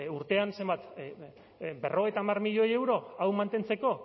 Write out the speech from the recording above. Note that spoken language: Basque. urtean zenbat berrogeita hamar milioi euro hau mantentzeko